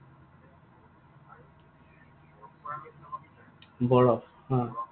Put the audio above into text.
বৰফ, অ।